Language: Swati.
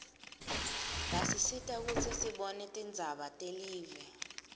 basisita kutsi sibone tindzaba telive